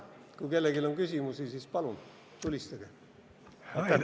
Kui kellelgi on küsimusi, siis palun, tulistage!